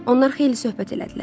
Onlar xeyli söhbət elədilər.